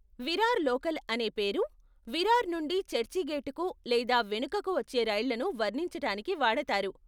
Virar local అనే పేరు విరార్ నుండి చర్చిగేటుకి లేదా వెనుకకు వచ్చే రైళ్ళను వర్ణించటానికి వాడతారు.